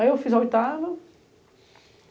Aí eu fiz a oitava.